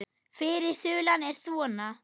Fyrri þulan er svona